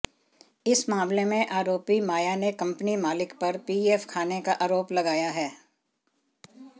इस मामले में आरोपी माया ने कंपनी मालिक पर पीएफ खाने का आरोप लगाया है